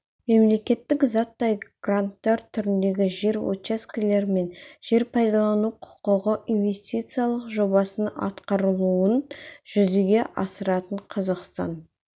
мемлекеттік заттай гранттар түріндегі жер учаскелер мен жер пайдалану құқығы инвестициялық жобаның атқарылуын жүзеге асыратын қазақстан